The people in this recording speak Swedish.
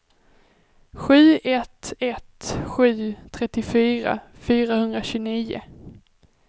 sju ett ett sju trettiofyra fyrahundratjugonio